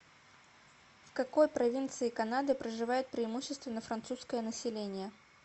в какой провинции канады проживает преимущественно французское население